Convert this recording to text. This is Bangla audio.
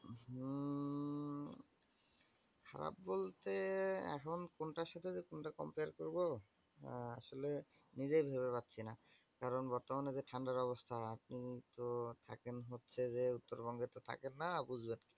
খারাপ বলতে এখন কোনটার সাথে যে কোনটা compare করবো অ্যা আসলে নিজেই ভেবে পাচ্ছিনা। কারণ বর্তমানে যা ঠান্ডার অবস্থা আপনি তো থাকেন হচ্ছে যে উত্তরবঙ্গে তো থাকেন না বুঝবেন কি।